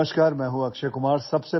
नमस्कार मी अक्षय कुमार